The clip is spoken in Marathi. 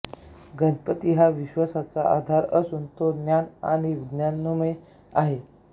गणपती हा विश्वाचा आधार असून तो ज्ञान आणि विज्ञानमय आहे